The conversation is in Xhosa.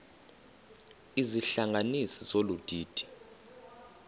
izihlanganisi zolu didi